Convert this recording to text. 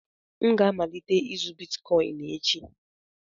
M ga-amalite ịzụ Bitkọịn echi